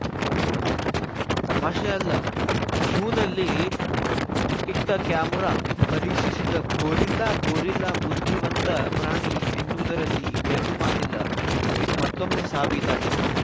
ತಮಾಷೆ ಅಲ್ಲ ಝೂನಲ್ಲಿ ಇಟ್ಟಕ್ಯಾಮರಾ ಪರೀಕ್ಷಿಸಿದ ಗೋರಿಲ್ಲಾ ಗೋರಿಲ್ಲಾ ಬುದ್ಧಿವಂತ ಪ್ರಾಣಿ ಎನ್ನುವುದರಲ್ಲಿ ಎರಡು ಮಾತಿಲ್ಲ ಇದು ಮತ್ತೊಮ್ಮೆ ಸಾಬೀತಾಗಿದೆ